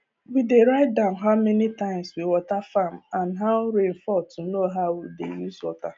we dey write down how many times we water farm and how rain fall to know how we dey use water